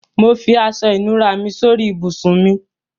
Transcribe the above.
Mo fi aṣọ-ìnùra mi sórí ibùsùn mi.